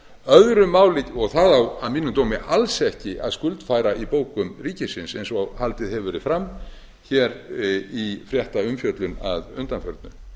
öðru máli og það á að mínum dómi alls ekki að skuldfæra í bókum ríkisins eins og haldið hefur verið fram í fréttaumfjöllum að undanförnu